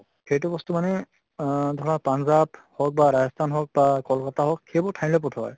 সেইটো বস্তু মানে আহ ধৰা পান্জাব হৌক বা ৰাজস্থান হৌক বা কল্ক্ত্তা হৌক সেইবোৰ ঠাইলৈ পঠোৱা হয়।